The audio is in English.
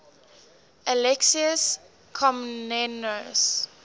alexius komnenos